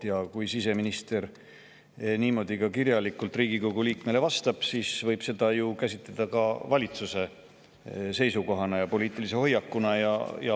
Ja kui siseminister niimoodi kirjalikult Riigikogu liikmele vastab, siis võib seda ju käsitleda ka valitsuse seisukoha ja poliitilise hoiakuna.